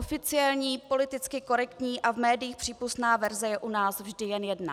Oficiální, politicky korektní a v médiích přípustná verze je u nás vždy jen jedna.